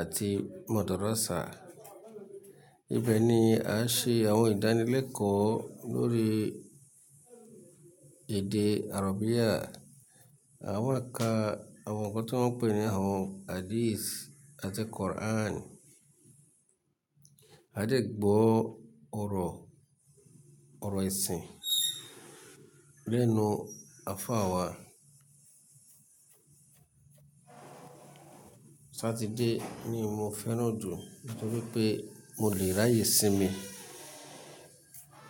àti Madarassa. Ibẹ̀ ni a ṣe àwọn ìdánilẹ́kọ̀ọ́ lórí èdè àràbía, àwa ká, àwọn ǹkan tí wọ́n ń pè ní àwọn Hadís àti Quran. A dẹ̀ gbọ́ ọ̀rọ̀, ọ̀rọ̀ ẹ̀sìn lẹ́nu afá wa. Sátidé ni mo fẹ́ràn jù nítorí pé mo lè ráyè sinmi.